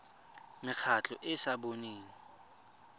mekgatlho e e sa boneng